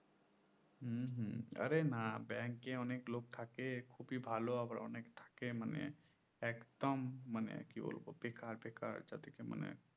হম হম আরে না bank এ অনেক লোক থাকে খুবই ভালো আবার অনেক থাকে মানে একদম মানে কি বলবো বেকার বেকার যাদিকে মানে